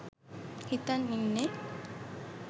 හිතන් ඉන්නේ.